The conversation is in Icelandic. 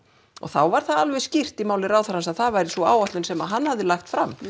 og þá var það alveg skýrt hjá ráðherra að það væri sú áætlun sem hann hefði lagt fram